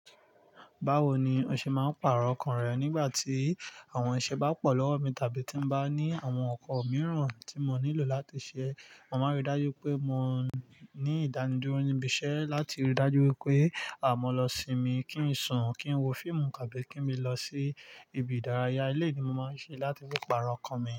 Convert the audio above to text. Báwo ni o ṣe máa ń pàrọ̀ ọkàn rẹ nígbà tí àwọn iṣẹ́ bá pọ̀ lọ́wọ́ mi tàbí tí ń bá ní àwọn ọkọ̀ mìíràn tí mọ nílò láti ṣe? Mo máa rí dájú pé mo ní ìdánidúró níbi iṣẹ́ láti rí dájú pé àmọ́ lọ sinmi, kí n sùn, kí n wo fíìmù tàbí kí n lọ sí ibi ìdárayá i lé ni mo máa ń ṣe láti fi pàrọ̀ ọkàn mi.